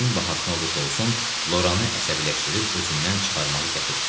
Nəyin bahasına olursa olsun Loranı əsəbiləşdirib özündən çıxarmağı qət etdi.